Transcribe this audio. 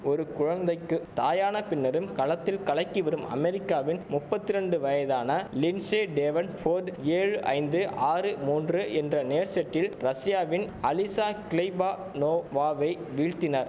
ஒரு குழந்தைக்கு தாயான பின்னரும் களத்தில் கலக்கி வரும் அமெரிக்காவின் நுப்பத்திரண்டு வயதான லின்சே டேவன் போர்டு ஏழு ஐந்து ஆறு மூன்று என்ற நேர் செட்டில் ரஷியாவின் அலிசா கிளைபனோவாவை வீழ்த்தினர்